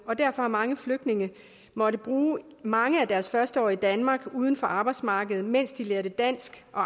og derfor har mange flygtninge måttet bruge mange af deres første år i danmark uden for arbejdsmarkedet mens de lærte dansk og